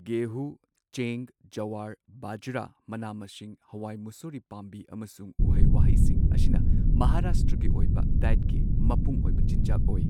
ꯒꯦꯍꯨ, ꯆꯦꯡ, ꯖꯣꯋꯥꯔ, ꯕꯖ꯭ꯔꯥ, ꯃꯅꯥ ꯃꯁꯤꯡ, ꯍꯋꯥꯏ ꯃꯨꯁꯣꯔꯤ ꯄꯥꯝꯕꯤ ꯑꯃꯁꯨꯡ ꯎꯍꯩ ꯋꯥꯍꯩꯁꯤꯡ ꯑꯁꯤꯅ ꯃꯍꯥꯔꯥꯁꯇ꯭ꯔꯒꯤ ꯑꯣꯏꯕ ꯗꯥꯏꯠꯀꯤ ꯃꯄꯨꯡꯑꯣꯏꯕ ꯆꯤꯟꯖꯥꯛ ꯑꯣꯏ꯫